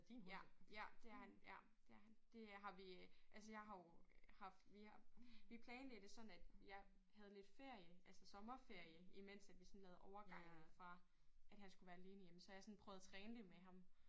Ja ja det er han ja det er han. Det har vi altså jeg har jo haft vi har vi planlagde det sådan at jeg havde lidt ferie altså sommerferie imens at vi sådan lavede overgangen fra at han skulle være alene hjemme så jeg sådan prøvet at træne det med ham